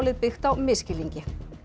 byggt á misskilningi